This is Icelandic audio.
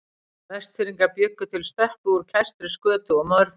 Vestfirðingar bjuggu til stöppu úr kæstri skötu og mörfloti.